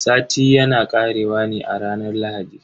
Sati yana karewa ne a ranar Lahadi.